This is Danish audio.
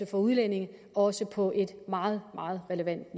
for udlændinge også på et meget meget relevant